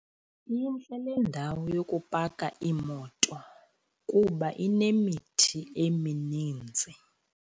Intle le ndawo yokupaka iimoto kuba inemithi emininzi.